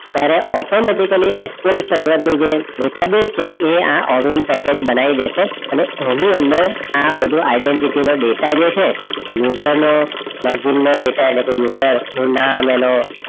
તારે automaticaly expert sever નું જે database છે એ આ ઓવિન પેકેજ બનાઈ દાસે હવે એની અંદર આ બધુ આઇડેનટિટિ ના ડેટા જે છે user નું નો ડેટા એટલે કે user નું નામ એનું